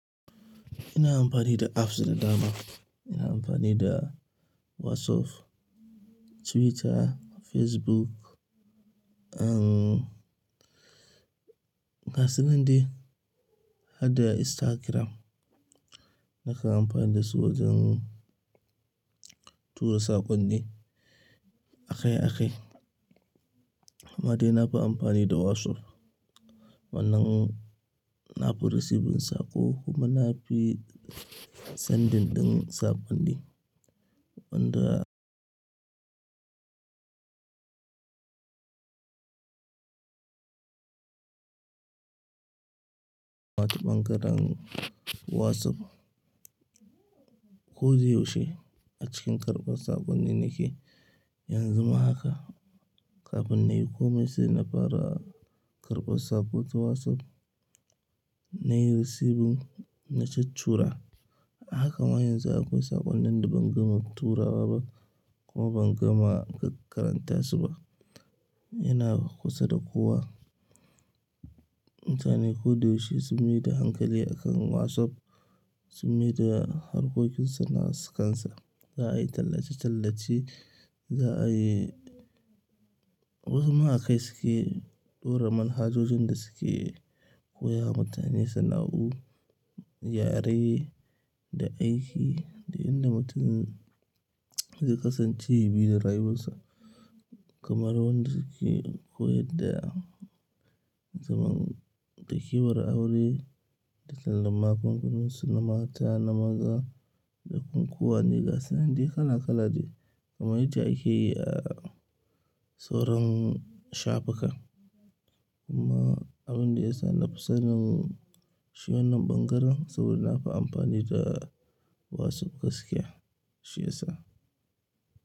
Ina amfani da apps da dama. Ina amfani da Wasuph, Twitter, Facebook, um, gasunan dai hadda Instagram. Nakan ampani da su wajen tura saƙonni akai-akai. Amma dai na fi ampani da Wasuph wannan na fi receiving saƙo kuma na fi sending ɗin saƙonni. Wan da ɓangaren Wasup ko da yaushe a cikin karɓar saƙonni nake. Yanzu ma haka kafin nayi komai sai na fara karɓar sako ta wasup nayi recieving na tuttura. Haka ma yanzu akwai saƙonnin da ban gama turawa ba kuma ban gama karanta su ba. Ina kusa da kowa. Mutane ko da yaushe sun mai da hankali akan Wasup, sun mai da harkokinsu na sikansa. Za a yi tallace-tallace, za a yi wasu ma akai suke ɗora man hajojin da suke koya ma mutane sana'u yare da aiki da inda mutum zai kasance ya bi da rayuwarsa kamar wanda suke koyar da zaman takewar aure da tallan magungununsu, na mata, na maza da kunkuwa ne gasu nan dai kala-kala dai kamar yadda ake yi a sauran shafukan. Kuma abin da ya sa na fi sanin shi wannan ɓangaren saboda na fi amfani da Wasup gaskiya shi ya sa.